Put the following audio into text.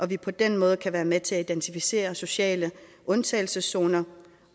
vi på den måde kan være med til at identificere sociale undtagelseszoner